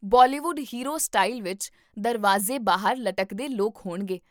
Bollywood hero style ਵਿੱਚ ਦਰਵਾਜ਼ੇ ਬਾਹਰ ਲਟਕਦੇ ਲੋਕ ਹੋਣਗੇ